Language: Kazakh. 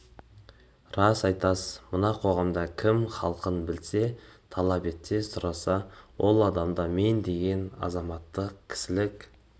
рас айтасыз мына қоғамда кім хақын білсе талап етсе сұраса ол адамда мен деген азаматтық кісілік